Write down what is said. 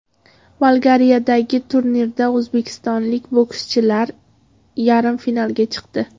Bolgariyadagi turnirda o‘zbekistonlik bokschilar yarim finalga chiqdi.